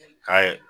Ka